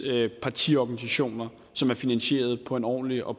partiorganisationer som er finansieret på en ordentlig og